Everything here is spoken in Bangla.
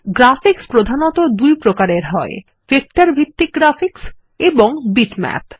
গ্রাফিক্স প্রধানত দুই রকম এর হয় ভেক্টর ভিত্তিক গ্রাফিক্স এবং বিটম্যাপ